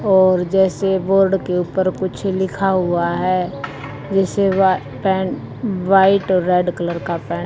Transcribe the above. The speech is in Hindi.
और जैसे बोर्ड के ऊपर कुछ लिखा हुआ है जैसे वह पेन व्हाइट और रेड कलर का पेन --